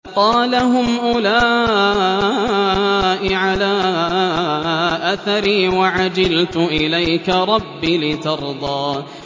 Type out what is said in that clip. قَالَ هُمْ أُولَاءِ عَلَىٰ أَثَرِي وَعَجِلْتُ إِلَيْكَ رَبِّ لِتَرْضَىٰ